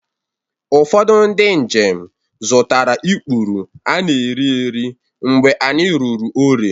Ụfọdụ ndị njem zụtara ikpuru ana-erieri mgbe anyị ruru Ore